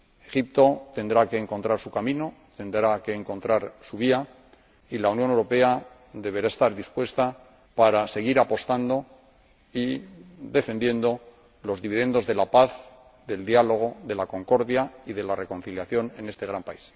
Egipto tendrá que encontrar su camino, tendrá que encontrar su vía y la Unión Europea deberá estar dispuesta para seguir apostando y defendiendo los dividendos de la paz, del diálogo, de la concordia y de la reconciliación en este gran país.